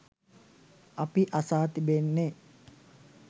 අපි අසා තිබෙන්නේ